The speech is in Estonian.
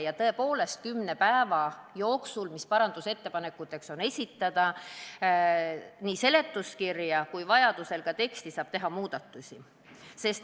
Ja tõepoolest, kümne päeva jooksul, mis parandusettepanekute esitamiseks on antud, saab nii seletuskirjas kui ka vajaduse korral tekstis teha muudatusi.